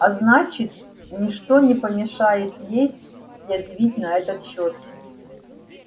а значит ни что не помешает ей язвить на этот счёт